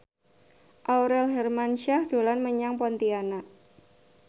Aurel Hermansyah dolan menyang Pontianak